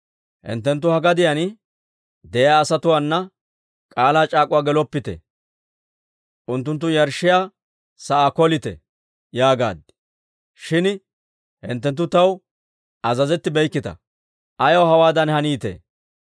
hinttenttu ha gadiyaan de'iyaa asatuwaana k'aalaa c'aak'uwaa geloppite; unttunttu yarshshiyaa sa'aa kolite› yaagaad; shin hinttenttu taw azazettibeykkita. Ayaw hewaadan haneedditee?